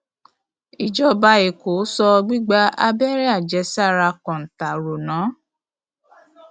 ìjọba èkó so gbígba abẹrẹ àjẹsára kọńtà rò ná